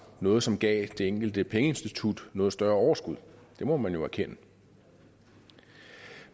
noget som gav det enkelte pengeinstitut noget større overskud det må man jo erkende